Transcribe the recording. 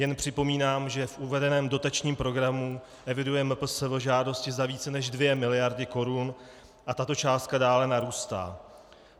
Jen připomínám, že v uvedeném dotačním programu eviduje MPSV žádosti za více než 2 miliardy korun a tato částka dále narůstá.